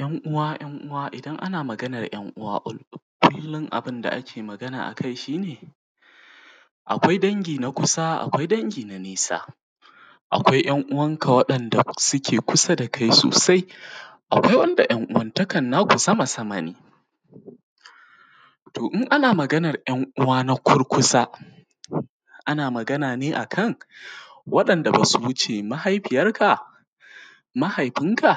Yan’ uwa ‘yan’ uwa idan ana maganan ‘yan’ uwa kullum abunda ake Magana shine akwai dangi na kusa akwai dangi na nesa, akwai ‘yan’ uwan ka wanda suke kusa da kai sosai, akwai wanda ‘yan’ uwan takan naku sama sama ne. to in ana maganan ‘yan’ uwa na kurkusa ana Magana ne akan wa ‘yan’ da basu wuce mahaifiyar ka, mahaifin ka,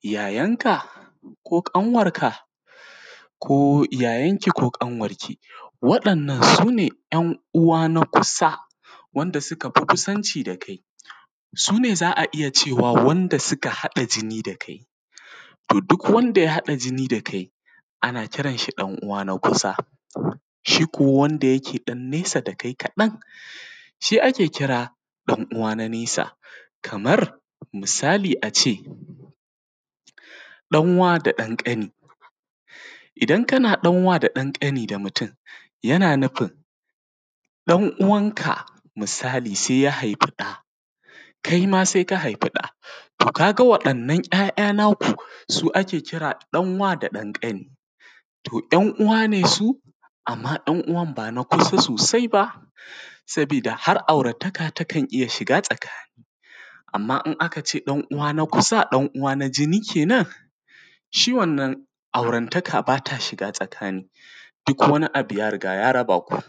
yayar ka, ko ƙanwan ka ko yayar ki ko ƙanwar ki, waɗannan sune ‘yan’ uwa na kukusa wanda sukafi kusanci da kai. Sune za’a iyya cewa wanda suka haɗa jini da kai, to duk wanda ya haɗa jini da kai ana kiranshi ɗan uwa na kusa. Shiko wanda yake ɗan nesa da kai kaɗan shi ake kira ɗan uwa na nesa, kamar misali ace ɗan wa da ɗan ƙani, idan kana ɗan wa da ɗan ƙani yana nufin ɗan uwan ka misali sai ya haifi ɗa kai ma sai ka haifi ɗa, to kaga wa ɗannan ‘ya’ ‘ya’ naku su ake kira ɗan wa da ɗan ƙani to ‘yan’ uwa ne su amma ‘yan’ uwan bana kusa sosai ba. Sabida har aurataka takan iyya shiga tsakani, amma in akace ɗan uwa na kusa ɗan uwa na jini kenan shi wannan aurantaka bata shiga tsakani duk wani abu ya riga ya raba ku.